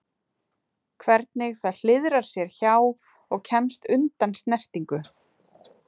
Hvernig það hliðrar sér hjá og kemst undan snertingu.